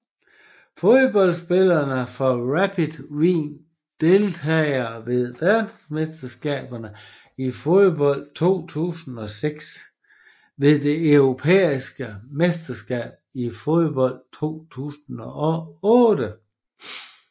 Fodboldspillere fra Rapid Wien Deltagere ved verdensmesterskabet i fodbold 2006 Deltagere ved det europæiske mesterskab i fodbold 2008